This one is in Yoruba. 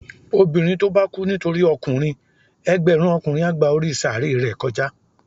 Obinrín to ba kú nitori okunrin, ẹgbẹrun okunrin a gba orí saaré re kojá